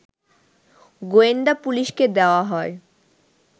গোয়েন্দা পুলিশকে দেয়া হয়